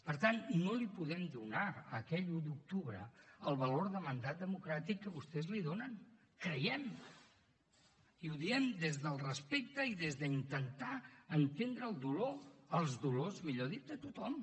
per tant no li podem donar a aquell un d’octubre el valor de mandat democràtic que vostès li donen creiem i ho diem des del respecte i des d’intentar entendre el dolor els dolors millor dit de tothom